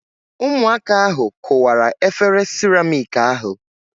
Ụmụaka ahu kụwara efere siramịk ahu